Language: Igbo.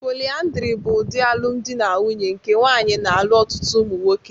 Polyandry bụ ụdị alụmdi na nwunye nke nwaanyị na-alụ ọtụtụ ụmụ nwoke.